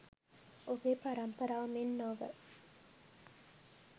ඔබේ පරම්පරාව මෙන් නොව